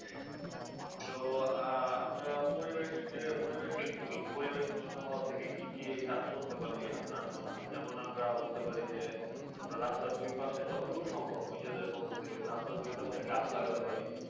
যো আহ আমরা পরিবেশকে পরিবেশ এর পরিবেশ দূষিত হওয়ার থেকে কি কি কাজ করতে পারে আপনার মনে হয়? যেমন আমরা বলতে পারি যে আমরা রাস্তার দুইপাশে যতটুকু সম্ভব নিজেদের পক্ষ থেকে রাস্তার দুইপাশে গাছ লাগাতে পারি।